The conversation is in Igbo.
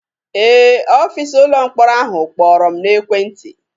Ee, ọfịsa ụlọ mkpọrọ ahụ kpọrọ m n'ekwentị.